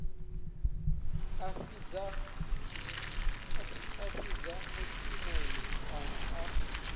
a fhidza mushumoni kana a